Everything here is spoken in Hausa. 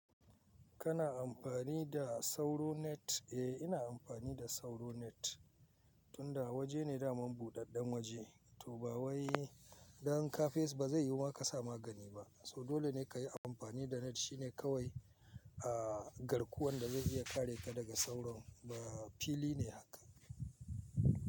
Kana amfani da sauro net? Eh, ina amfani da sauro net, tunda waje ne da mam buɗaɗɗen waje, to ba wai don kafes ba zai yiwu ma ka samu gani ba. So dole ne ka yi amfani da net shine kawai, a garkuwan da zai iya kare ka daga sauron. Ba fili ne haka.